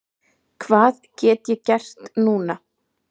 Hvað get ég gert núna?